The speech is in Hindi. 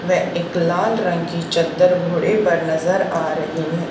व एक लाल रंग की चद्दर घोड़े पर नजर आ रही है।